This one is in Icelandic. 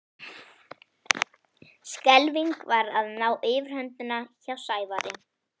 Skelfing var að ná yfirhöndinni hjá Sævari.